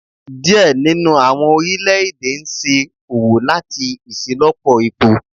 Diẹ ninu awọn orilẹ-ede n ṣe owo lati iṣelọpọ epo